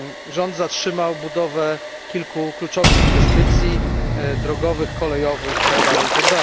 Rząd zatrzymał budowę kilku kluczowych inwestycji drogowych, kolejowych, itd.